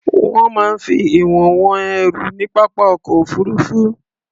Wọ́n máa ń fi ìwọ̀n wọn ẹrù ní pápá ọkọ̀ òfuruufú.